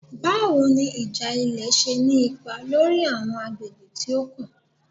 Bawo ni ija ilẹ ṣe ni ipa lori awọn agbegbe ti o kan?